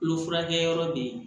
Kolo furakɛyɔrɔ bɛ yen